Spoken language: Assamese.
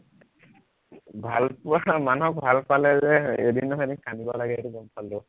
ভাল পোৱা মানুহক ভাল পালে যে এদিন নহয় এদিন কান্দিব লাগে সেইটো গম পালো